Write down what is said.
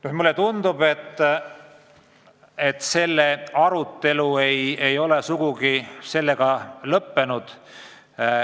Samas mulle tundub, et arutelu ei ole sellega sugugi lõppenud.